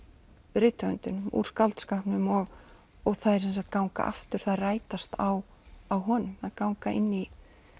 rithöfundinum úr skáldskapnum og þær ganga aftur þær rætast á á honum þær ganga inn í